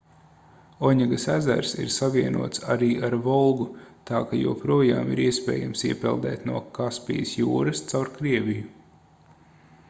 oņegas ezers ir savienots arī ar volgu tā ka joprojām ir iespējams iepeldēt no kaspijas jūras caur krieviju